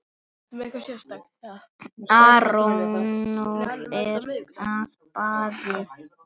Arnór er í baði